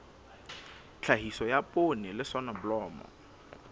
tlhahiso ya poone le soneblomo